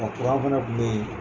A kuran fana tun bɛ yen